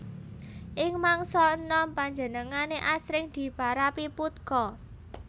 Ing mangsa enom panjenengané asring diparapi Putka